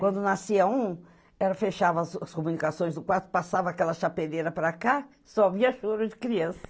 Quando nascia um, ela fechava as as comunicações do quarto, passava aquela chapeleira para cá, só via choro de criança.